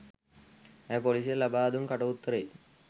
ඇය පොලිසියට ලබා දුන් කට උත්තරයේ